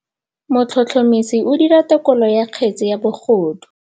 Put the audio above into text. Motlhotlhomisi o dira têkolô ya kgetse ya bogodu.